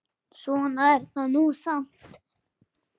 Svona er það nú samt.